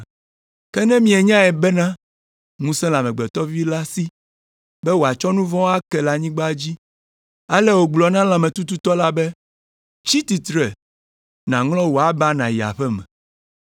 Ke ne mianyae bena ŋusẽ le Amegbetɔ Vi la si be wòatsɔ nu vɔ̃ ake le anyigba dzi.” Ale wògblɔ na lãmetututɔ la be, “Tsi tsitre nàŋlɔ wò aba nàyi aƒe me.”